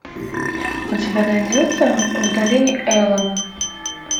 у тебя найдется в долине эла